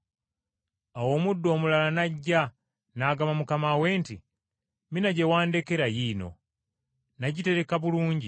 “Awo omuddu omulala n’ajja, n’agamba mukama we nti, ‘Mina gye wandekera yiino, nagitereka bulungi.